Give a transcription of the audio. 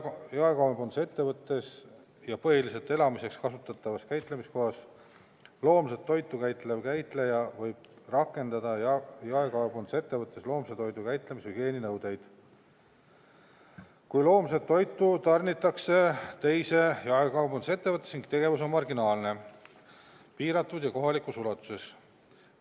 Jaekaubandusettevõttes ja põhiliselt elamiseks kasutatavas käitlemiskohas loomset toitu käitlev käitleja võib rakendada jaekaubandusettevõttes loomse toidu käitlemise hügieeninõudeid, kui loomset toitu tarnitakse teise jaekaubandusettevõttesse ning tegevus on marginaalne, piiratud ja kohalikus ulatuses.